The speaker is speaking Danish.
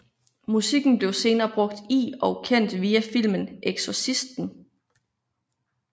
Musikken blev senere brugt i og kendt via filmen Exorcisten